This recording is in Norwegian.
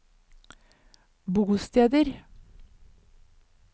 bosteder